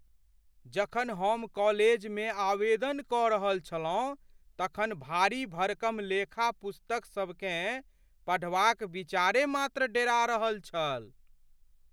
जखन हम कॉलेजमे आवेदन कऽ रहल छलहुँ तखन भारी भरकम लेखा पुस्तकसभकेँ पढ़बाक विचारे मात्र डेरा रहल छल।